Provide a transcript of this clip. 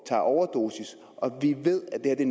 tager overdosis og vi ved at det